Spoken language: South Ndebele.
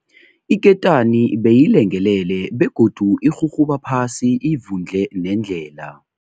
Iketani beyilengelele begodu irhurhuba phasi ivundle nendlela.